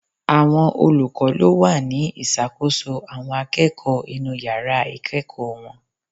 Àwọn olùkọ́ ló wà ní ìṣàkóso àwọn akẹ́kọ̀ọ́ inú yàrá ìkẹ́ẹ̀kọ̀ wọn.